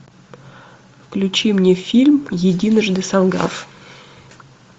включи мне фильм единожды солгав